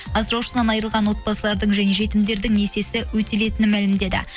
асыраушысынан айырылған отбасылардың және жетімдердің несиесі өтелетінін мәлімдеді